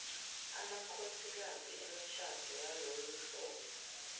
amakhosikazi emishado yaloluhlobo